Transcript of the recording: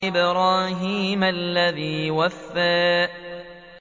وَإِبْرَاهِيمَ الَّذِي وَفَّىٰ